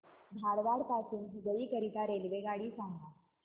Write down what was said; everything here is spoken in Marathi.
धारवाड पासून हुबळी करीता रेल्वेगाडी सांगा